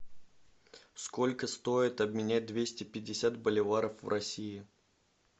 сколько стоит обменять двести пятьдесят боливаров в россии